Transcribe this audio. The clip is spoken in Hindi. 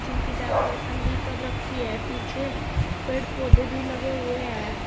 इनकी डेकोरेशन भी कर रखी है पीछे पेड़ पौधे भी लगे हुए हैं।